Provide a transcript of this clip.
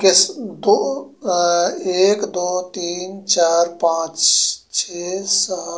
किस दो अ एक दो तीन चार पांच छे सात --